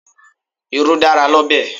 Irú dára l'ọ́bẹ̀.